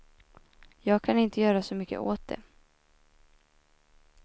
Jag kan inte göra så mycket åt det.